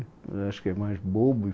Acho que é mais bobo.